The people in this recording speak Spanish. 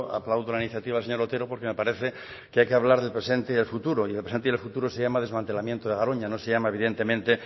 aplaudo la iniciativa señor otero porque me parece que hay que hablar del presente y del futuro y el presente y el futuro se llama desmantelamiento de garoña no se llama evidentemente